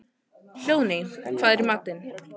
Hróðný, hvað er í matinn?